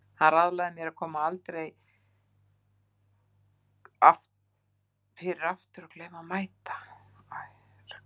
Hann ráðlagði mér að láta það aldrei koma fyrir aftur að gleyma að mæta.